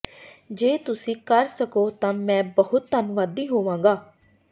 ਜੇ ਤੁਸੀਂ ਕਰ ਸਕੋ ਤਾਂ ਮੈਂ ਬਹੁਤ ਧੰਨਵਾਦੀ ਹੋਵਾਂਗਾ